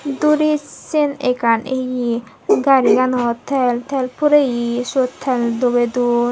duris siyen ekkan ye gariganot tel tel pureye siyot tel dubey don.